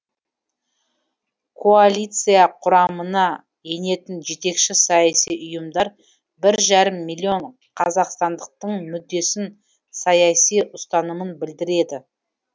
коалиция құрамына енетін жетекші саяси ұйымдар бір жарым миллион қазақстандықтың мүддесін саяси ұстанымын білдіреді